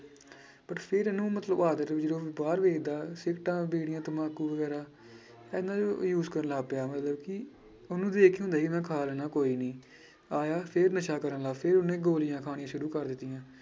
But ਫਿਰ ਇਹਨੁੰ ਮਤਲਬ ਆਦਤ ਜਦੋਂ ਬਾਹਰ ਵੇਖਦਾ ਸਿਗਰਟਾਂ, ਬੀੜੀਆਂ, ਤੰਬਾਕੂ ਵਗ਼ੈਰਾ ਇਹਨਾਂ ਨੂੰ use ਕਰਨ ਲੱਗ ਪਿਆ ਮਤਲਬ ਕਿ ਉਹਨੂੰ ਵੇਖ ਕੇ ਹੁੰਦਾ ਸੀ ਮੈਂ ਖਾ ਲੈਂਨਾ ਕੋਈ ਨੀ, ਆਇਆ ਫਿਰ ਨਸ਼ਾ ਕਰਨ ਫਿਰ ਉਹਨੇ ਗੋਲੀਆਂ ਖਾਣੀਆਂ ਸ਼ੁਰੁ ਕਰ ਦਿੱਤੀਆਂ।